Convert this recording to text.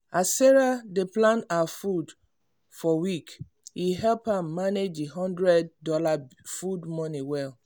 as sarah dey plan her food for week e help am manage her one hundred dollars food money well.